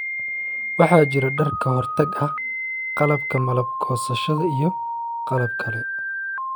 waxaa jira dhar ka hortag ah, qalabka malab goosashada, iyo qalab kale.